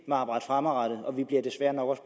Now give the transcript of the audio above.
at arbejde fremadrettet og vi vil desværre nok også